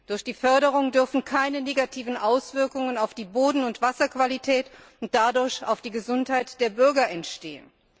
Durch die Förderung dürfen keine negativen Auswirkungen auf die Boden und Wasserqualität und dadurch auf die Gesundheit der Bürger entstehen.